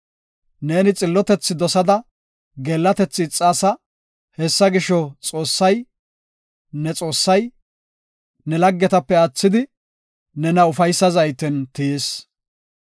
Neeni xillotethi dosada geellatethi ixaasa; Hessa gisho, Xoossay, ne Xoossay, ne laggetape aathidi, nena ufaysa zayten tiyis.